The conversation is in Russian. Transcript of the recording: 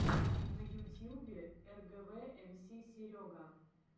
на ютьюбе эргэвэ эмси серега